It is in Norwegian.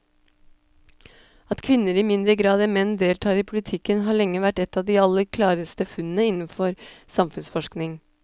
At kvinner i mindre grad enn menn deltar i politikken har lenge vært et av de aller klareste funnene innenfor samfunnsforskningen.